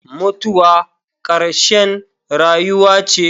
Mutuwa ƙarshen rayuwa ce.